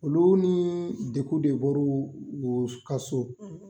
Olu ni dekun de bɔr'u u ka so